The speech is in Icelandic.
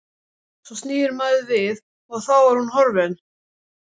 Svo snýr maður við og þá er hún horfin.